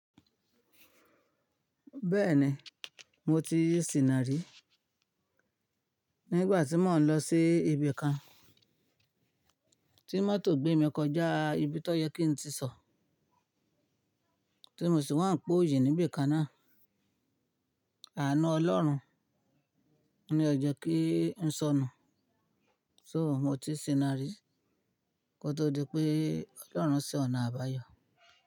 Bẹ́ẹ̀ni, mo ti ṣi nà rí. Nígbà tí mò ń lọ sí ibi kan, tí mọ́tò gbé mi kọjá ibi tó yẹ kí n ti sọ, tí mo sì wá ń po òyì níbi ìkan náà. Àánú Ọlọ́run ní ó jẹ́ kí n sọnù So mo tí ṣìnà rí kó tó di pé Ọlọ́run ṣe ọ̀nà àbáyọ.